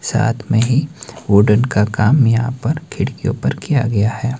साथ मे ही उडन का काम यहां पर खिड़कियो पर किया गया है।